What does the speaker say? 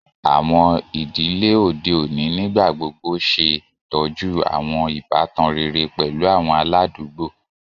Àwọn ìdílé òde òní nígbà gbogbo ṣè tọ́jú àwọn ìbátan rere pẹ̀lú àwọn aládùúgbò.